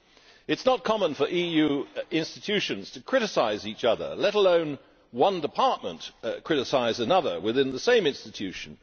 It is not common for EU institutions to criticise each other, let alone for one department to criticise another within the same institution.